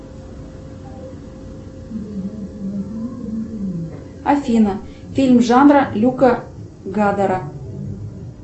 афина фильм жанра люка гадера